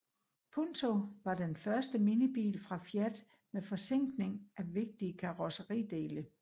Punto var den første minibil fra Fiat med forzinkning af vigtige karrosseridele